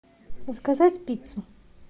заказать пиццу